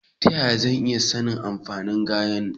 Ta yaya zan iya sanin amfanin ganyen?